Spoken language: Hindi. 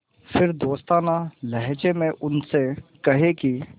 फिर दोस्ताना लहजे में उनसे कहें कि